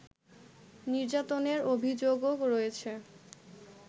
নির্যাতনের অভিযোগও রয়েছে